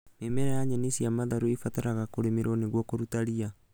Mĩmera ya nyeni cia matharũ ĩbataraga kũrĩmĩrwo nĩguo kũruta ria